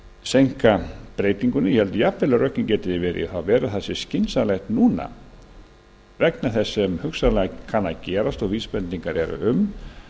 seinka breytingunni ég held jafnvel að rökin geti verið í þá veru að skynsamlegt sé nú vegna þess sem hugsanlega kann að gerast og vísbendingar eru um